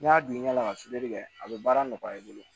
N'i y'a bin ɲaga fitini kɛ a bɛ baara nɔgɔya i bolo